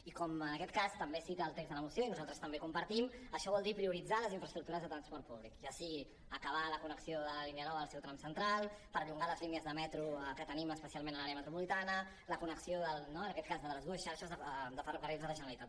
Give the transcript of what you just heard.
i com en aquest cas també cita el text de la moció i nosaltres també ho compartim això vol dir prioritzar les infraestructures de transport públic ja sigui acabar la connexió de la línia nou en el seu tram central perllongar les línies de metro que tenim especialment a l’àrea metropolitana la connexió del nord no en aquest cas la de les dues xarxes de ferrocarrils de la generalitat